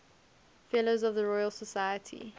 fellows of the royal society